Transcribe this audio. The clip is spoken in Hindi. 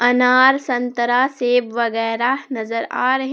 अनार संतरा सेव वगैरा नजर आ रहे--